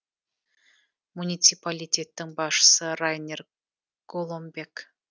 муниципалитеттің басшысы райнер голомбек